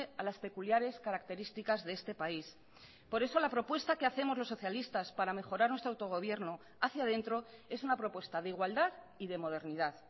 a las peculiares características de este país por eso la propuesta que hacemos los socialistas para mejorar nuestro autogobierno hacia adentro es una propuesta de igualdad y de modernidad